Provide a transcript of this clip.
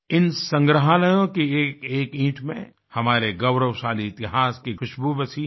इन संग्रहालयों की एकएक ईंट में हमारे गौरवशाली इतिहास की खुशबू बसी है